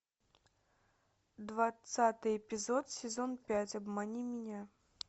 двадцатый эпизод сезон пять обмани меня